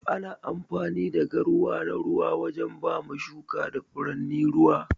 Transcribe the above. Ana amfani da garwa na ruwa wajen bama shuka da furanni ruwa.